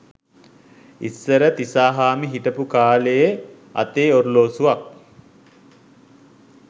ඉස්සර තිසාහාමි හිටපු කාලයේ අතේ ඔරලෝසුවක්